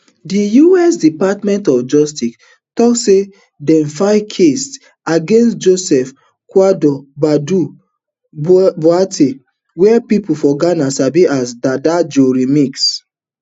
di us department of justice tok say dem file case against joseph kwadwo badu boa ten g wia pipo for ghana sabi as dada joe remix